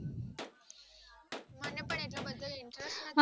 મને પણ એટલો બધો interest નથી